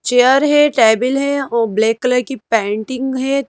Chair है table है और ब्लैक कलर की पैंटिंग है।